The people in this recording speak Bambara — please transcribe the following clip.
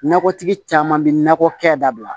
Nakɔtigi caman bɛ nakɔ kɛ dabila